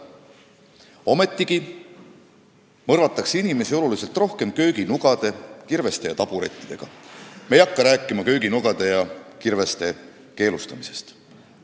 Ometigi mõrvatakse oluliselt rohkem inimesi kööginugade, kirveste ja taburettidega, aga me ei räägi kööginugade ja kirveste keelustamisest.